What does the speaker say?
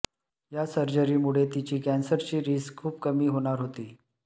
या सर्जरीमुळे तिची कॅन्सरची रिस्क खूप कमी होणार होती